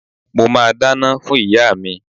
Mo máa dáná fún ìyá mi.